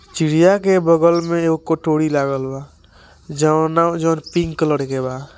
चिड़िया के बगल में एएगो कटोरी लागल बा जोनो जोन पिंक कलर के बा ।